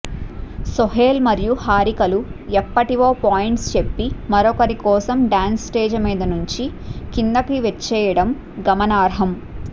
సోహెల్ మరియు హారికాలు ఎప్పటివో పాయింట్స్ చెప్పి మరొకరి కోసం డాన్స్ స్టేజ్ మీద నుంచి కిందకి వచ్చేయడం గమనార్హం